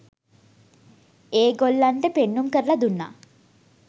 ඒ ගොල්ලන්ට පෙන්නුම් කරලා දුන්නා.